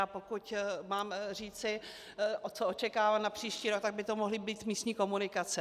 A pokud mám říci, co očekávám na příští rok, tak by to mohly být místní komunikace.